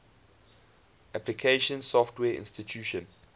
application software installation